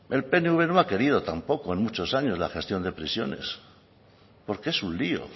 el pnv no ha querido tampoco en muchos años la gestión de prisiones porque es un lio